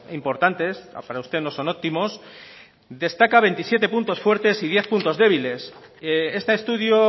importantes para usted no son óptimos destaca veintisiete puntos fuertes y diez puntos débiles este estudio